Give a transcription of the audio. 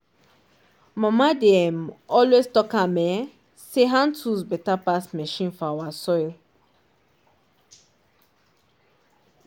mama dey um always talk am um say hand tools better pass machine for our soil